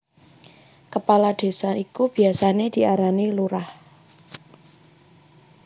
Kepala Désa iku biasané diarani Lurah